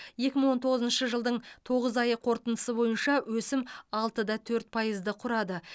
екі мың он тоғызыншы жылдың тоғыз ай қорытындысы бойынша өсім алты да төрт пайызды құрады